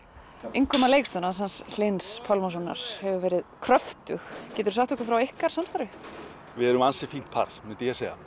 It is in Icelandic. innkoma leikstjórans hans Hlyns Pálmasonar hefur verið kröftug geturðu sagt okkur frá ykkar samstarfi við erum ansi fínt par myndi ég segja